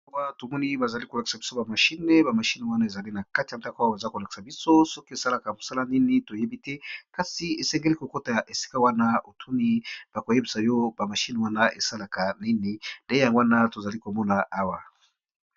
Awa tomoni bazo lakisa biso ba Machine ,ba Machine wana eza nakati ya ndako sokî esalaka mosala nini toyebite kasi esengeli KO kota esika wana bakoyebisayo ba Machine wana esalaka nini ndewana tozo Mona wana.